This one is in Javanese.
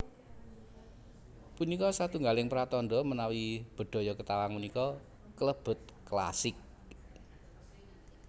Punika satunggaling pratandha menawi Bedhaya Ketawang punika kalebet klasik